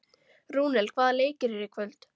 Rúnel, hvaða leikir eru í kvöld?